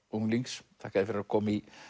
unglings þakka þér fyrir að koma í